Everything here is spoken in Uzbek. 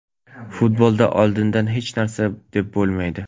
Futbolda oldindan hech narsa deb bo‘lmaydi.